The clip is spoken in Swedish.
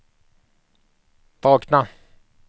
vakna